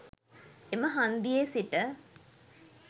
එම හන්දියේ සිට